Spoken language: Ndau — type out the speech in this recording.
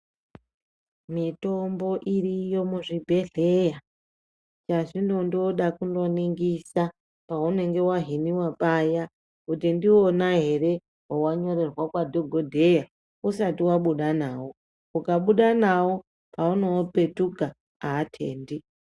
Mitombo iriyo muzvibhedhleya chazvinondoda kundoningisa paunenge wahiniwa paya kuti ndiwona ere wawanyorerwa kwadhogodheya usati wabuda nawo ukabuda nawo ukabuda nawo paunoopetuka aatendi.